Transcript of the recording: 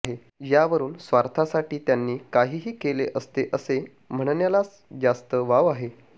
यावरून स्वार्थासाठी त्यांनी काहीही केले असते असे म्हणण्यालाच जास्त वाव आहे